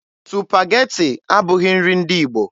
Supageti abụghị nri ndị Igbo.